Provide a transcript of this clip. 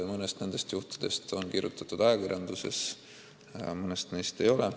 Mõnest juhust on kirjutatud ajakirjanduses ja mõnest ei ole.